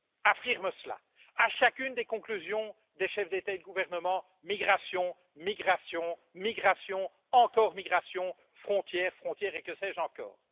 affirme cela, à chacune des conclusions des chefs d'État et de gouvernement migration, migration, migration, encore migration, frontière, frontière et que sais je encore.